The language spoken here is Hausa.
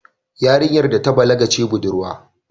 Yarinyar da ta balaga ce budurwa